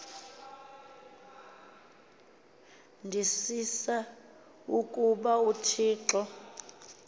ndisisa ukuba uthixo